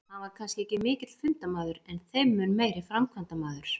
Hann var kannski ekki mikill fundamaður en þeim mun meiri framkvæmdamaður.